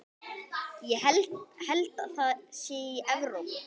Held það sé í Evrópu.